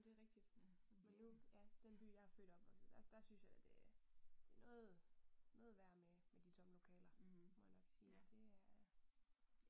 Det rigtigt. Men nu ja den by jeg er født og opvokset der der synes jeg da det det noget noget værre med med de tomme lokaler, må jeg nok sige det er